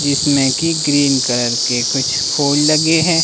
जिसमें की green colour के कुछ फूल लगे हैं।